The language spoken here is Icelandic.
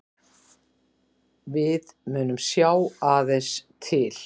Við munum sjá aðeins til